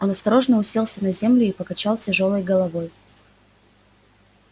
он осторожно уселся на землю и покачал тяжёлой головой